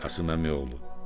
Qasım əmiy oğlu.